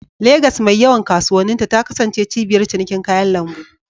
Legas, mai yawan kasuwanninta, ta kasance cibiyar cinikin kayan lambu.